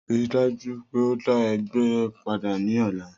Rii daju pe o da ẹgba pada ni ọla.